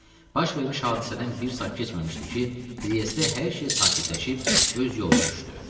Baş vermiş hadisədən bir saat keçməmişdi ki, Triestdə hər şey sakitləşib öz yoluna düşdü.